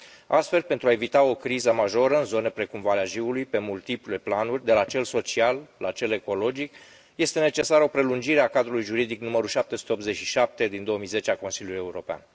Astfel, pentru a evita o criză majoră în zone precum Valea Jiului, pe multiple planuri, de la cel social la cel ecologic este necesară o prelungire a cadrului juridic numărul 787 din 2010 al Consiliului European.